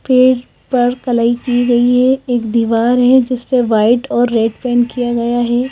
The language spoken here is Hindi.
पेड़ पर कलई की गई है एक दीवार है जिस पर वाइट और रेड पेंट किया गया है।